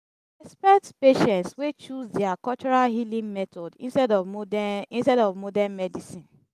respect patience wey choose their cultural healing method instead of modern instead of modern medicine